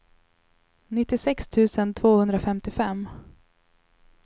nittiosex tusen tvåhundrafemtiofem